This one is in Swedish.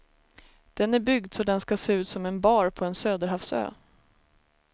Den är byggd så den ska se ut som en bar på en söderhavsö.